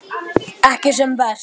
Ekki sem verst?